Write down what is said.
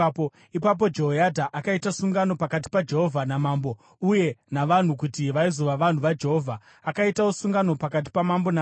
Ipapo Jehoyadha akaita sungano pakati paJehovha namambo uye navanhu kuti vaizova vanhu vaJehovha. Akaitawo sungano pakati pamambo navanhu.